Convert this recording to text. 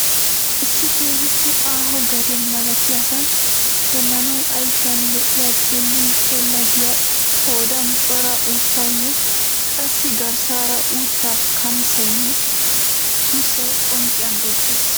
Issi keehiippe aaho gade malattiyaasan xeelanawu ayffiyan lo'iya xeellin xeella giyaa qoodaan cora uttaynne qassi garssaara uttaa kanssaynne sussay qoncciyan beettees.